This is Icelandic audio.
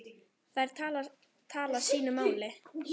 Þær tala sínu máli.